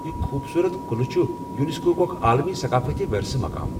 یہ خوبصورت قلعہ چُھ یونیسکو ہُك اكھ عالمی ثقافتی ورثہٕ مقام ۔